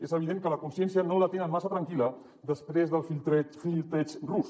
és evident que la consciència no la te·nen massa tranquil·la després del flirteig rus